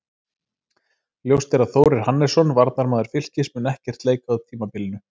Ljóst er að Þórir Hannesson, varnarmaður Fylkis, mun ekkert leika á tímabilinu.